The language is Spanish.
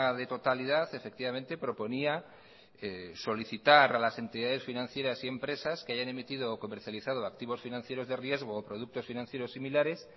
de totalidad efectivamente proponía solicitar a las entidades financieras y empresas que hayan emitido o comercializado activos financieros de riesgo o productos financieros similares